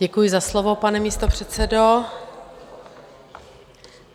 Děkuji za slovo, pane místopředsedo.